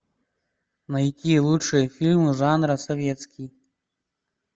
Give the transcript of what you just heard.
найти лучшие фильмы жанра советский